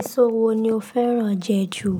Èso wo ni o fẹ́ràn jẹ ju?